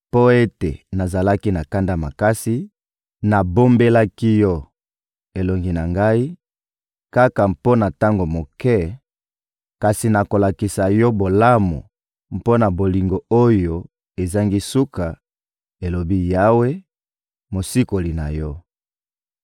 Mpo ete nazalaki na kanda makasi, nabombelaki yo elongi na Ngai kaka mpo na tango moke; kasi nakolakisa yo bolamu mpo na bolingo oyo ezangi suka, elobi Yawe, Mosikoli na yo.